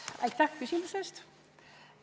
Aitäh küsimuse eest!